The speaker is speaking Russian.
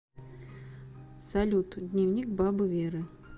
салют дневник бабы веры